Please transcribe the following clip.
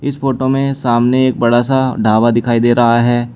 इस फोटो में सामने एक बड़ा सा ढाबा दिखाई दे रहा है।